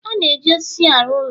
A na-eji osisi arụ ụlọ